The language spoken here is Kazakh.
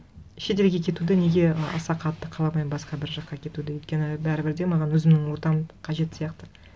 шетелге кетуді неге аса қатты қаламаймын басқа бір жаққа кетуді өйткені бәрібір де маған өзімнің ортам қажет сияқты